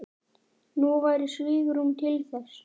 Nú væri svigrúm til þess.